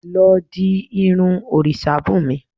Lọ di irun òrìṣabunmi